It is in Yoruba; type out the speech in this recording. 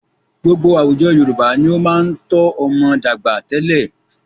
Gbogbo àwùjọ Yorùbá ni ó máa ń tọ́ ọmọ dàgbà tẹ́lẹ̀.